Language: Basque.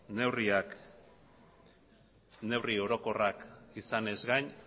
neurriak neurri orokorrak izanez gain